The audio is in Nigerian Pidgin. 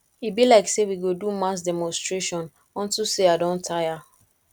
e be like say we go do mass demonstration unto say i i don tire